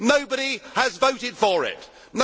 Nobody has voted for that.